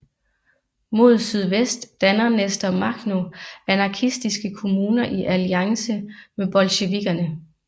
Mod sydvest danner Nestor Makhno anarkistiske kommuner i alliance med bolsjevikkerne